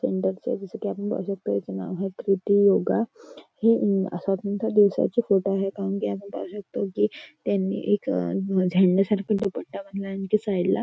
सेंटरचा दिसत आहे. हे प्रिटी योगा हे असा कोणत्या दिवसाचा फोटो आहे. आपण पाहू शकतो कि त्यांनी एक झेंड्यासारखा दुपट्टा बांधला आहे. आणि साईडला --